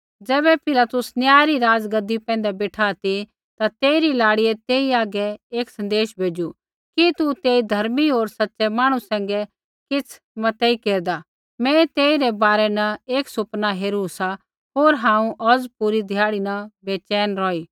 ज़ैबै पिलातुस न्याय री राज़गद्दी पैंधै बेठा ती ता तेइरी लाड़ियै तेई हागै एक सँदेशा भेज़ू कि तू तेई धर्मी होर सच़ै मांहणु सैंघै किछ़ मतेई केरदा मैं तेइरै बारै न एक सुपना हेरू सा होर हांऊँ औज़ पूरी ध्याड़ी न बैचैन रौही